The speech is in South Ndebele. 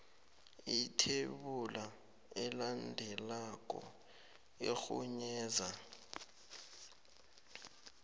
ithebula elandelako irhunyeza